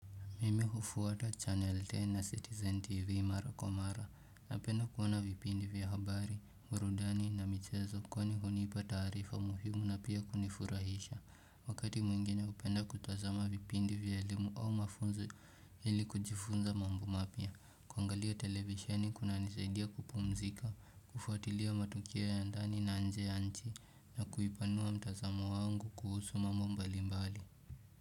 Mimi hufuata Channel 10 na Citizen TV Mara Kwa mara. Napenda kuona vipindi vya habari, burudani na michezo kwani hunipa taarifa muhimu na pia kunifurahisha. Wakati mwingine hupenda kutazama vipindi vya elimu au mafunzo ili kujifunza mambo mapya. Kuangalia televisheni kunanisaidia kupumzika, kufuatilia matukio ya ndani na nje ya nchi na kuipanua mtazamo wangu kuhusu mambo mbali mbali.